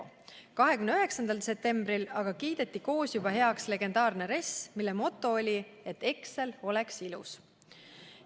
Aga juba 29. septembril kiideti koos heaks legendaarne RES, mille moto oli, et Excel oleks ilus.